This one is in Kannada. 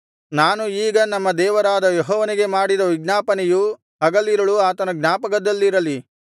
ನಾನು ಈಗ ನಮ್ಮ ದೇವರಾದ ಯೆಹೋವನಿಗೆ ಮಾಡಿದ ವಿಜ್ಞಾಪನೆಯು ಹಗಲಿರುಳು ಆತನ ಜ್ಞಾಪಕದಲ್ಲಿರಲಿ